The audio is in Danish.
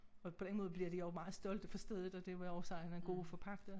Og på den måde bliver de også meget stolte for stedet og det vil også sige en god forpagter